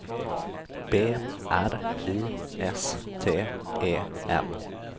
B R I S T E N